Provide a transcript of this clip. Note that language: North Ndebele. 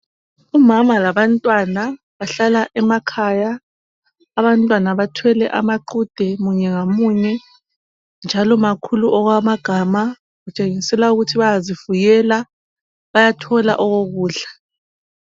Umama labantwana bahlala emakhaya, abantwana bathwele amaqhude munye ngamunye njalo makhulu okwamagama .Kutshengisela ukuthi bayazifuyela bayathola okokudla.